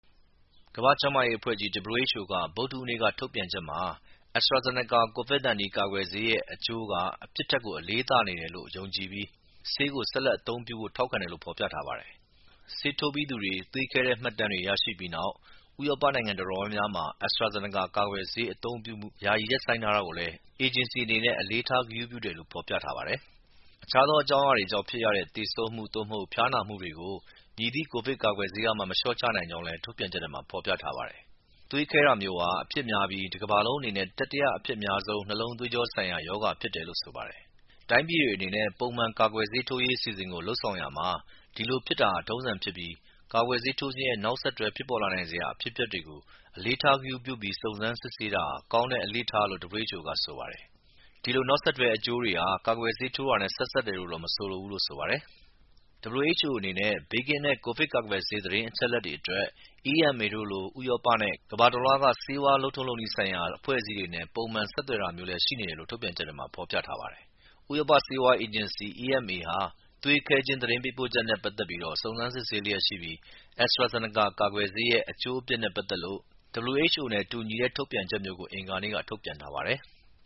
ကမ္ဘာ့ကျန်းမာရေးအဖွဲ့ကြီး WHO က ဗုဒ္ဓဟူးနေ့က ထုတ်ပြန်ချက်မှာ AstraZeneca COVID-19 ကာကွယ်ဆေးရဲ့ အကျိူးက အပြစ်ထက်အလေးသာနေတယ်လို့ယုံကြည်ပြီး ဆေးကို ဆက်လက်အသုံးပြုဖို့ထောက်ခံတယ်လို့ဖော်ပြထားပါတယ်။ ဆေးထိုးပြီးသူတွေ သွေးခဲတဲ့ မှတ်တမ်းတွေ ရရှိပြီးနောက် ဥရောပနိုင်ငံတော်တော်များများမှာ AstraZeneca ကာကွယ်ဆေး အသုံးပြုမှု ယာယီ ရပ်ဆိုင်းထားတာကိုလည်း အေဂျင်စီအနေနဲ့အလေးထားတယ်လို့ဖော်ပြပါတယ်။ အခြားအကြောင်းအရာတွေကြောင့်ဖြစ်ရတဲ့ သေဆုံးမှု သို့မဟုတ် ဖျားနာမှုတွေကို မည်သည့် ကိုဗစ်ကာကွယ်ဆေးကမှ မလျှော့ချနိုင်ကြောင်းလည်း ထုတ်ပြန်ချက်ထဲမှာ ဖော်ပြထားပါတယ်။ သွေးခဲတာမျိူးဟာ အဖြစ်များပြီး တကမ္ဘာလုံးအနေနဲ့တတိယ အဖြစ်များဆုံး နှလုံးသွေကြော ဆိုင်ရာ ရောဂါဖြစ်တယ်လို့ဆိုပါတယ်။ တိုင်းပြည်တွေအနေနဲ့ပုံမှန် ကာကွယ်ဆေးထိုးရေးအစီအစဉ်တွေကို လုပ်ဆောင်ရာမှာ ဒီလိုဖြစ်တာ ထုံးစံဖြစ်ပြီး ကာကွယ်ဆေးထိုးခြင်းရဲ့ နောက်ဆက်တွဲဖြစ်ပေါ်လာနိုင်စရာ အဖြစ်အပျက်တွေကို မှတ်သားထားပြီး စုံစမ်းစစ်ဆေးတာဟာ ကောင်းတဲ့ အလေ့အထလို့WHO က ဆိုပါတယ်။ ဒီလို နောက်ဆက်တွဲ အကျိူးတွေဟာ ကာကွယ်ဆေးထိုးတာနဲ့ ဆက်စပ်တယ်လို့တော့ မဆိုလိုဘူးလို့ဆိုပါတယ်။ WHO အနေနဲ့ ဘေးကင်းတဲ့ ကိုဗစ်ကာကွယ်ဆေးသတင်းအချက်အလက်တွေအတွက် EMA တို့လို ဥရောပ နဲ့ ကမ္ဘာတလွှားက ဆေးဝါး လုပ်ထုံးလုပ်နည်းဆိုင်ရာ အဖွဲ့အစည်းတွေနဲ့ ပုံမှန် ဆက်သွယ်တာမျိူးရှိနေတယ်လို့လည်း ထုတ်ပြန်ချက်ထဲမှာ ဖော်ပြထားပါတယ်။ ဥရောပ ဆေးဝါ အေဂျင်စီ EMA ဟာ သွေးခဲခြင်း သတင်းပေးပို့ချက်နဲ့ပက်သက်ပြီး စုံစမ်းစစ်ဆေးလျက်ရှိပြီး AstraZeneca ကာကွယ်ဆေးရဲ့ အကျိူးအပြစ်နဲ့ပက်သက်လို့WHO နဲ့တူညီတဲ့ထုတ်ပြန်ချက်မျိူးကို အင်္ဂါနေ့က ထုတ်ပြန်ထားပါတယ်။